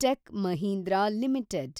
tech Mahindra limited